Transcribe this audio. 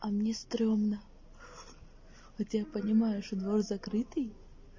а мне стремно хотя я понимаю что двор закрытый